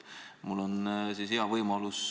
Mul on siin hea võimalus.